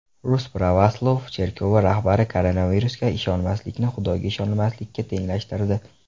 Rus pravoslav cherkovi rahbari koronavirusga ishonmaslikni Xudoga ishonmaslikka tenglashtirdi.